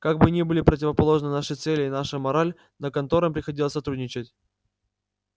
как бы ни были противоположны наши цели и наша мораль но конторам приходилось сотрудничать